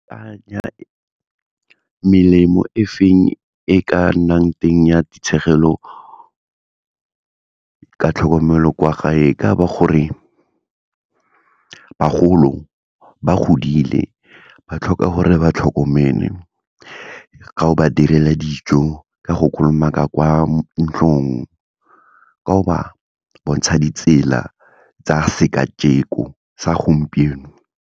Melemo e feng e ka nnang teng ya ka tlhokomelo kwa gae, e ka ba gore bagolo ba godile, ba tlhoka gore re ba tlhokomele ga o ba direla dijo, ka go kolomaka kwa ntlong, ka go ba bontsha ditsela tsa sekajeko, sa gompieno.